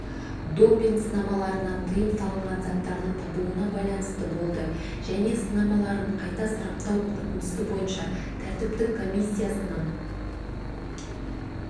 допинг-сынамаларынан тыйым салынған заттардың табылуына байланысты болды және сынамаларын қайта сараптау қорытындысы бойынша тәртіптік комиссиясының